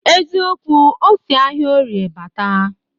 Eziokwu, o si ahịa orie bata